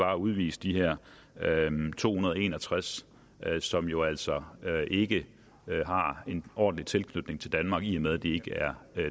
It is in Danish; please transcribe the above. at udvise de her to hundrede og en og tres som jo altså ikke har en ordentlig tilknytning til danmark i og med at de ikke er